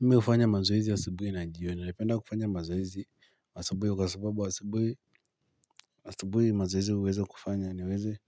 Mimi hufanya mazoezi asubuhi na jioni, napenda kufanya mazoezi asubuhi kwa sababu asubuhi asubuhi mazoezi huweza kufanya niweze